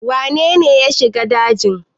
wanene ya a shiga dajin?